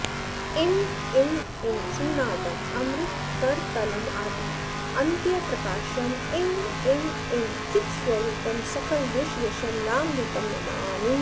इं इं इं सिंहनादं अमृतकरतलं आदि अन्त्यप्रकाशं इं इं इं चित्स्वरूपं सकलदिशयशं रामदूतं नमामि